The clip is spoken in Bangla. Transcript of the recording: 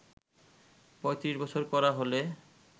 ৩৫ বছর করা হলে